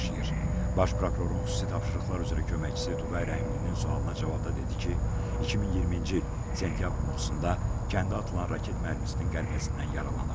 Baş prokurorun xüsusi tapşırıqlar üzrə köməkçisi Tuqay Rəhimlinin sualına cavabda dedi ki, 2020-ci il sentyabrın 30-da kəndə atılan raket mərmisinin qəlpəsindən yaralanıb.